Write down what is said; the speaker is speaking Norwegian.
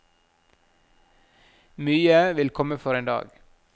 Mye vil komme for en dag.